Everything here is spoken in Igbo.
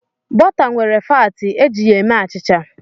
Bọta nwere faatị, e ji ya eme achịcha.